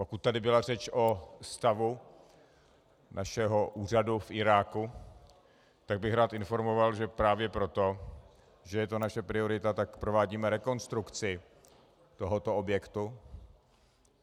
Pokud tady byla řeč o stavu našeho úřadu v Iráku, tak bych rád informoval, že právě proto, že je to naše priorita, tak provádíme rekonstrukci tohoto objektu.